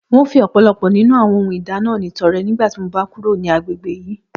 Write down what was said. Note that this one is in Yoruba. N óò fi ò̩pò̩lo̩pò̩ nínú àwo̩n ohun ìdáná mi to̩re̩ nígbà tí mo bá ń kúrò ní agbegbe yìí